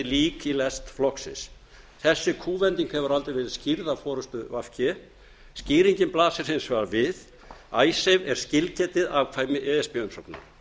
lík í lest flokksins þessi kúvending hefur aldrei verið skýrð af forustu v g skýringin blasir hins vegar við icesave er skilgetið afkvæmi e s b umsóknar